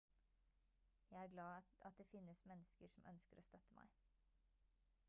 jeg er glad at det finnes mennesker som ønsker å støtte meg